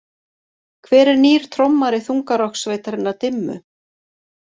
Hver er nýr trommari þungarokkssveitarinnar Dimmu?